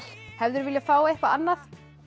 hefðirðu viljað fá eitthvað annað